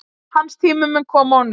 Hans tími mun koma á ný.